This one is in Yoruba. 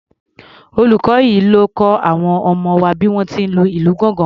Olùkọ yẹn ló kọ àwọn ọmọ wa bí wọ́n ti lè lu ìlù gángan.